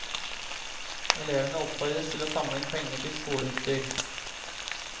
Elevene oppfordres til å samle inn penger til skoleutstyr.